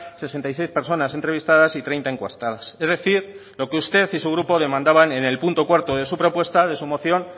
sesenta y seis personas entrevistadas y treinta encuestadas es decir lo que usted y su grupo demandaban en el punto cuarto de su propuesta de su moción